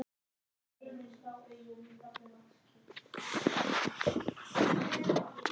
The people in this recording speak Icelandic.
Hef ég séð hann?